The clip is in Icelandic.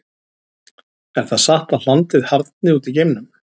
Er það satt að hlandið harðni út í geimnum?